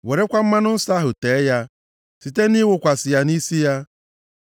Werekwa mmanụ nsọ ahụ, tee ya, site nʼịwụkwasị ya nʼisi ya.